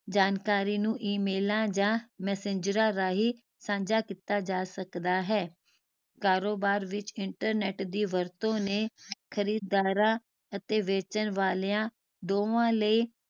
ਜਾਣਕਾਰੀ ਨੂੰ ਈਮੇਲਾਂ ਜਾ ਮੈਸੰਜਰਾਂ ਰਾਹੀਂ ਸਾਂਝਾ ਕੀਤਾ ਜਾ ਸਕਦਾ ਹੈ। ਕਾਰੋਬਾਰ ਵਿਚ internet ਦੀ ਵਰਤੋਂ ਨੇ ਖਰੀਦਦਾਰਾਂ ਅਤੇ ਵੇਚਣ ਵਾਲੇ ਦੋਹਾਂ ਲਈ